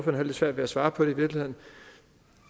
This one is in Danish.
havde lidt svært ved at svare på